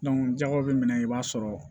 jakaw be minɛ i b'a sɔrɔ